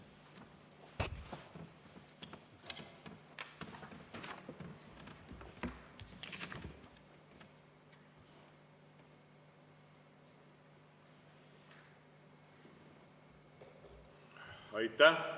Aitäh!